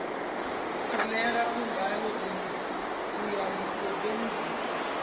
kholera kungabe uyalisebenzisa